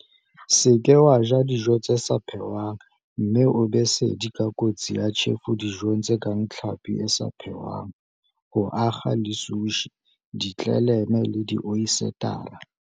Se ke wa ja dijo tse sa phehwang mme o be sedi ka kotsi ya tjhefo dijong tse kang tlhapi e sa phehwang, ho akga le sushi, ditleleme le dioyesetara.